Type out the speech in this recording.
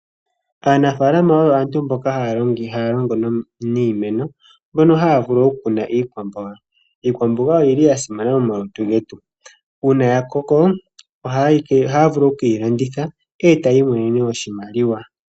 Aanafaalama oyo aantu mboka haya longo niimeno mbono haya vulu oku kuna iikwamboga. Iikwamboga oyili ya simana momalutu getu . Uuna ya koko ohaya vulu oku keyi landitha etaya imonene oshimaliwa.